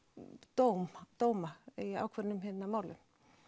dóma dóma í ákveðnum málum